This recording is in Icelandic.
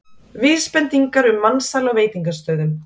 Vísbendingar um mansal á veitingastöðum